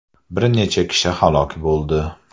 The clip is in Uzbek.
Bir necha kishi halok bo‘ldi .